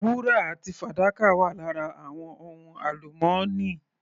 Wúrà àti fàdákà wà lára àwọn ohun alumọ́nì.